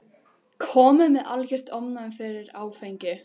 Kominn með algert ofnæmi fyrir áfengi.